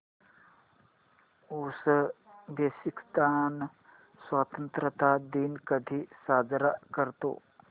Uzbekistan स्वतंत्रता दिन कधी साजरा करतो